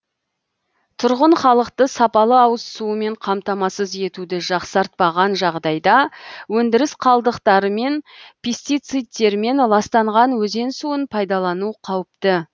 тұрғын халықты сапалы ауыз суымен қамтамасыз етуді жақсартпаған жағдайда өндіріс қалдықтарымен пистициттермен ластанған өзен суын пайдалану қауіпті